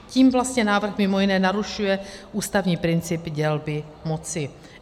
Tím vlastně návrh mimo jiné narušuje ústavní princip dělby moci.